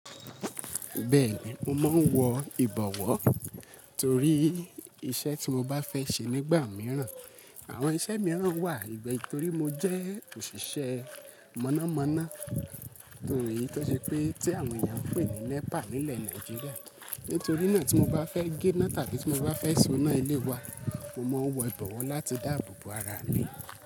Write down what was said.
Bẹ́ẹ̀ni, mo máa ń wọ ìbọ̀wọ́ torí iṣẹ́ tí mo bá fẹ́ ṣe nígbà mìíràn, àwọn iṣẹ́ mìíràn wà torí mo jẹ́ òṣìṣẹ́ mọ̀nàmọ́ná to, eyi tó ṣe pé tí àwọn èèyàn ń pè ní NEPA nílẹ̀ Nàìjíríà. Nítorí náà tí mo bá fẹ́ gé iná tàbí tí mo bá fẹ́ so iná ilé wa, mo máa ń wọ ìbọ̀wọ́ láti dáàbò bo ara mi.